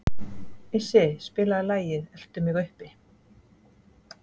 Issi, spilaðu lagið „Eltu mig uppi“.